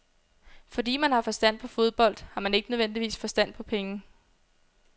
Fordi man har forstand på fodbold, har man ikke nødvendigvis forstand på penge.